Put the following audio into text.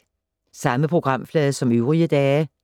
Samme programflade som øvrige dage